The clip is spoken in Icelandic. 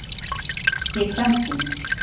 Í prentun.